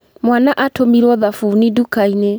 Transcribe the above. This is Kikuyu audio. Mwaana atũmirwo thabuni nduka-inĩ.